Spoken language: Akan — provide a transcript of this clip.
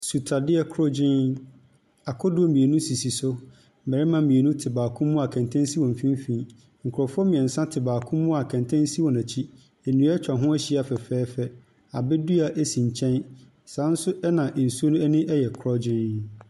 Nsutadeɛ korɔgyenn. Akodoɔ mmienu sisi so. Mmarima mmienu te baako mu a kɛntɛn si wɔn mfimfini. Nkurɔfoɔ mmeɛnsa te baako mu a kɛntɛn si wɔ akyi. Nnua atwa ho ahyia fɛfɛɛfɛ. Abɛdua si nkyɛn. Saa nso na nsuo no ani yɛ korɔgyenn.